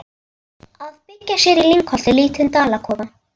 Að byggja sér í lyngholti lítinn dalakofa.